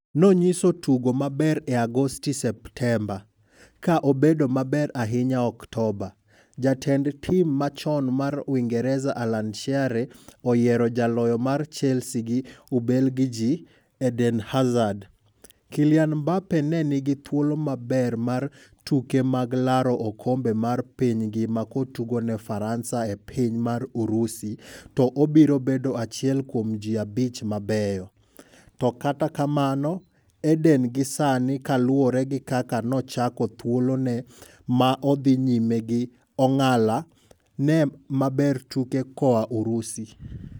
No nyiso tugo maber e Agostigi Septemba, ka obedo maber ahinya Oktoba' . Jatend tim machom mar Uingereza Alan Shearer oyiero jaloyo mar Chelsea gi Ubelgiji Eden Hazard "Kylian Mbappe ne nigi thuolo maber mar tuke maglaro okombe mar piny ngima kotugo ne Faransa e piny mar Urusi to obiro bedo achiel kuom ji abich mabeyo, to kata kamano Eden gi sani kaluore gi kaka nochako thuolone ma odhi nyime gi ong'ala ne mabertuke koa Urusi.